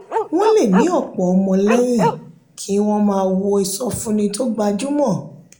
wọ́n lè ní ọ̀pọ̀ ọmọlẹ́yìn kí wọ́n máa wo ìsọfúnni tó gbajúmọ̀.